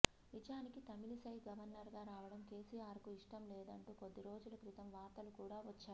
నిజానికి తమిళిసై గవర్నర్ గా రావడం కేసీఆర్ కు ఇష్టం లేదంటూ కొద్ది రోజుల క్రితం వార్తలు కూడా వచ్చాయి